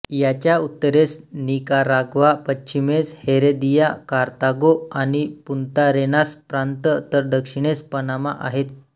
याच्या उत्तरेस निकाराग्वा पश्चिमेस हेरेदिया कार्तागो आणि पुंतारेनास प्रांत तर दक्षिणेस पनामा आहेत